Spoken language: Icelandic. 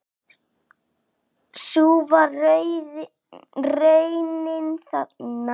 Sú var raunin þarna.